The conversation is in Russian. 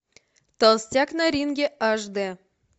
толстяк на ринге аш дэ